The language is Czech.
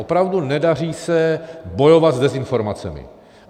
Opravdu nedaří se bojovat s dezinformacemi.